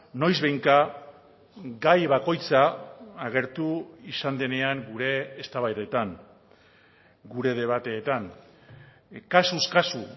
noizbehinka gai bakoitza agertu izan denean gure eztabaidetan gure debateetan kasuz kasu